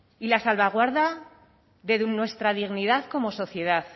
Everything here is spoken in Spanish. y la salvaguarda de nuestra dignidad como sociedad